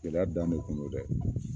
Gɛlɛya dan de kɔn don dɛ!